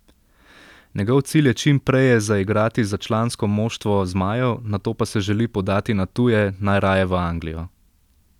Njegov cilj je čim preje zaigrati za člansko moštvo zmajev, nato pa se želi podati na tuje, najraje v Anglijo.